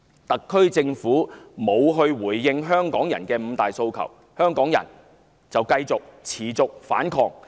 特區政府不回應香港人的"五大訴求"，香港人便繼續反抗。